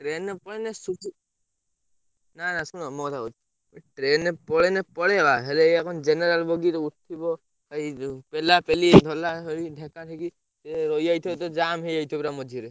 Train ପଳେଇନେ ନା ନା ଶୁଣ ମୋ କଥା କହୁଛି train ରେ ପଳେଇନେ ପଳେଇବା ହେଲେ ଏଇଆ ଙ୍କ general ବଗି ଯୋଉ ଉଠିବ ଏଇ ଯୋଉ ପେଲାପେଲି ଢଲା ଢାଲି ଧକା ଧକି ଇଏ ରହିଯାଇଥିବ ତ ପୁରା ଜାମ ହେଇଯାଇଥିବ ମଝିରେ।